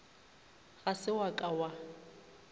ga se wa ka wa